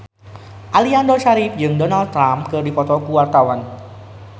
Aliando Syarif jeung Donald Trump keur dipoto ku wartawan